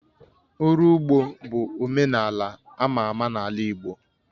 Ụrọ ugbo bụ omenala ama ama n'ala Igbo